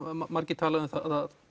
margir talað um að